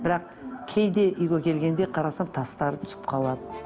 бірақ кейде үйге келгенде қарасам тастары түсіп қалады